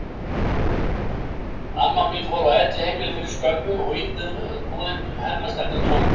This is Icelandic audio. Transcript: Amma mín fór á elliheimili fyrir skömmu og íbúðin hennar stendur tóm.